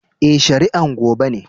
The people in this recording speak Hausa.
Eh, shari'an gobe ne.